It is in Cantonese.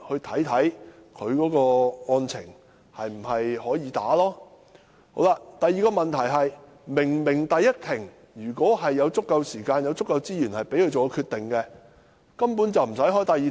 第二，如果律師在第一庭前已有足夠時間和資源作出決定，便根本無須召開第二庭。